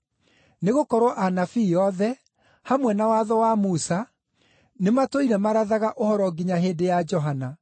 Nĩgũkorwo Anabii othe, hamwe na Watho wa Musa, nĩmatũire marathaga ũhoro nginya hĩndĩ ya Johana.